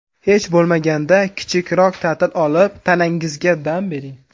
Hech bo‘lmaganda, kichikroq ta’til olib, tanangizga dam bering.